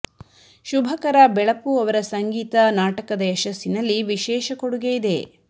ಶುಭಕರ ಬೆಳಪು ಅವರ ಸಂಗೀತ ನಾಟಕದ ಯಶಸ್ಸಿನಲ್ಲಿ ವಿಶೇಷ ಕೊಡುಗೆ ನೀಡಿದೆ